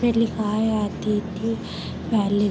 पे लिखा है अतिथि प्लेस ।